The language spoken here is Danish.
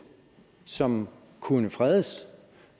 som kunne fredes